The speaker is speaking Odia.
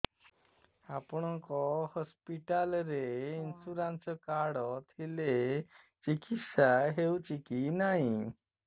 ଆପଣଙ୍କ ହସ୍ପିଟାଲ ରେ ଇନ୍ସୁରାନ୍ସ କାର୍ଡ ଥିଲେ ଚିକିତ୍ସା ହେଉଛି କି ନାଇଁ